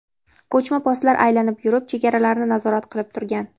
Ko‘chma postlar aylanib yurib, chegaralarni nazorat qilib turgan.